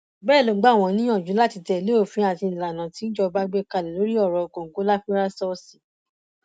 bẹẹ ló gbà wọn níyànjú láti tẹlé òfin àti ìlànà tí ìjọba gbé kalẹ lórí ọrọ kòǹgóláfírásọọsì